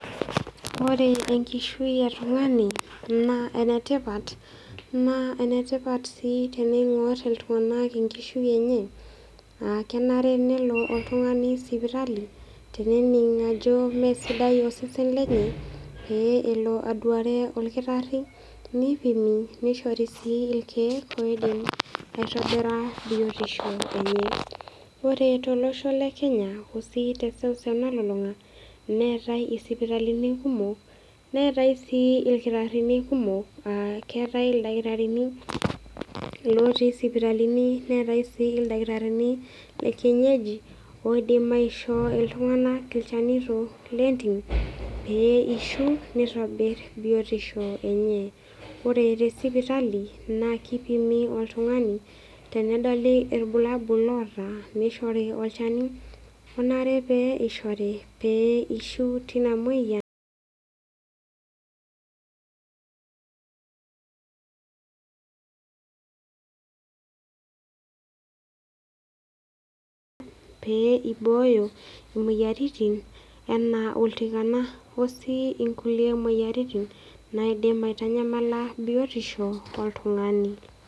Ore enkishui e tung'ani, naa enetipat oleng'naa enetipat sii teneing'or iltung'anak enkishui enye, naa kenare nelo oltung'ani sipitali, tenening ajo mee sidai osesen lenye, pee elo aduare olkitari, neipimi, neishori sii ilkeek oidim aitobira biotisho enye. Ore sii tolosho le Kenya arashu teseuseu nalulung'a, neatai isipitalini kumok, neatai sii ilkitarini kumok, aa keatai ilkitarini ootii isipitalini, neatai sii ilkitarini le kienyeji, oidim aishoo iltung'anak ilchanito lentim pee eishu neitobir biotisho enye. Ore te sipitali, naa keipimi oltung'ani tenedoli ilbulabul loata, neishori olchani lonare pee eishori, pee eishu teina moyian[silent] pee eibooyo imoyiaritin anaa oltikana o sii kulie moyiaritin naidim aitanyamala biotisho oltung'ani.